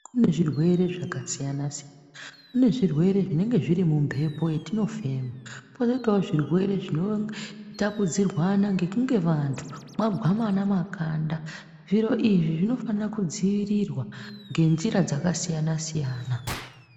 Kune zvirwere zvakasiyana siyana kune zvirwere zvinenge zvirimuhepo yatinofema koitawo zirwere zvinotapuridzanwa nekunge vantu vagwamana makanda zviro izvi zvinofanire kudzivirirwa ngenzira dzakasiyana siyana.